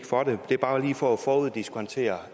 for det det er bare lige for at foruddiskontere